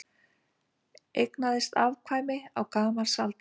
Eignaðist afkvæmi á gamalsaldri